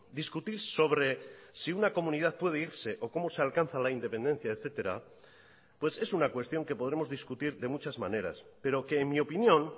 discutir sobre si una comunidad puede irse o cómo se alcanza la independencia etcétera pues es una cuestión que podremos discutir de muchas maneras pero que en mi opinión